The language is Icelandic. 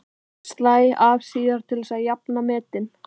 Slæ af síðar til að jafna metin.